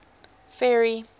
ferry